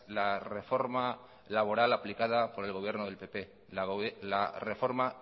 la reforma laboral aplicada por el gobierno del pp la reforma